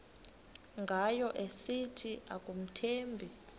ngayo esithi akamthembi